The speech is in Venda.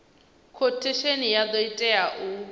khothesheni ya do tea u